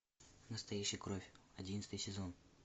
настоящая кровь одиннадцатый сезон